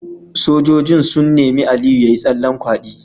Sojojin sun nemi Aliyu yayi tsallen kwadi